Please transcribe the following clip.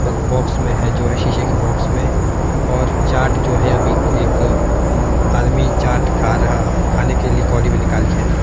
Box में है जो है शीशे की बॉक्स में और चाट जो है अभी एक आदमी चाट खा रहा खाने के लिए कटोरी में निकाली है।